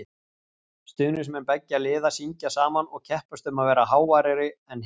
Stuðningsmenn beggja liða syngja saman og keppast um að vera háværari en hinn.